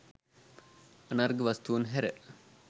අනර්ඝ වස්තූන් හැර